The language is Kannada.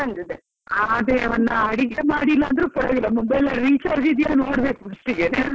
ಆ ಅದೆ ಒಂದು ಅಡಿಗೆ ಮಾಡಿಲ್ಲ ಅಂದ್ರು ಪರವಾಗಿಲ್ಲ, mobile ಅಲ್ಲಿ recharge ಇದ್ದೀಯ ನೋಡ್ಬೇಕು first ಗೆನೆ .